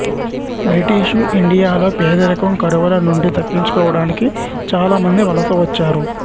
British ఇండియాలో పేదరికం కరువుల నుండి తప్పించుకోవడానికి చాలామంది వలస వచ్చారు